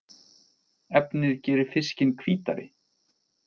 Efnið gerir fiskinn hvítari